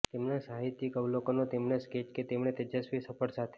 તેમના સાહિત્યિક અવલોકનો તેમણે સ્કેચ કે તેમણે તેજસ્વી સફળ સાથે